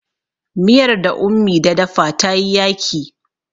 miyar da ummi da dafa ta yi yaki